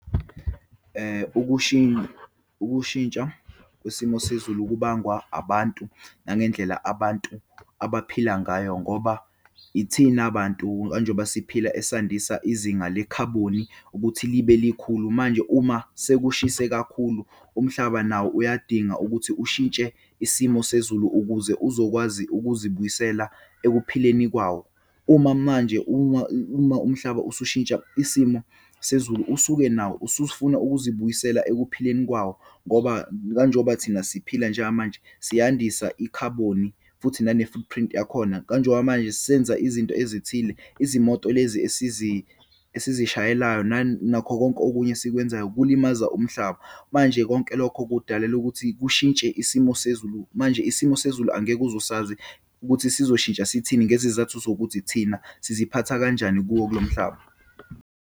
Ukushintsha kwesimo sezulu kubangwa abantu, nangendlela abantu abaphila ngayo, ngoba ithina bantu kanje ngoba siphila esandisa izinga lekhaboni ukuthi libe likhulu. Manje uma sekushise kakhulu, umhlaba nawo uyadinga ukuthi ushintshe isimo sezulu ukuze uzokwazi ukuzibuyisela ekuphileni kwawo. Uma manje, uma, uma umhlaba usushintsha isimo sezulu, usuke nawo usufuna ukuzibuyisela ekuphileni kwayo. Ngoba kanje ngoba thina siphila njengamanje siyandisa ikhaboni, futhi nane-footprint yakhona. Kanje ngoba manje sisenza izinto ezithile, izimoto lezi esizishayeayo nakho konke okunye esikwenzayo kulimaza umhlaba. Manje konke lokho kudalela ukuthi kushintshe isimo sezulu. Manje isimo sezulu angeke uzusazi ukuthi sizoshintsha sithini ngezizathu sokuthi thina siziphatha kanjani kuwo kulo mhlaba.